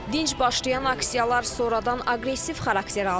Dinc başlayan aksiyalar sonradan aqressiv xarakter aldı.